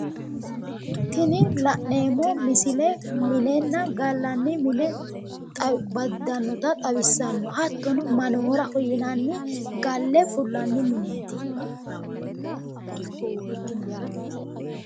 Tini la'neemmo misile minenna gallanni mine baddannota xawissanno. Hattono manooraho yinanni galle fullanni mineeti. Ikkinohuraati.